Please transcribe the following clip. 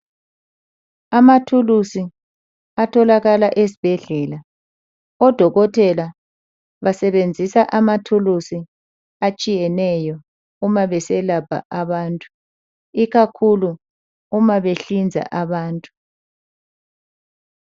Amathulusi atholakala esibhedlela odokotela basebenzisa amathulusi atshiyeneyo uma beselapha abantu ikakhulu uma behlinza abantu.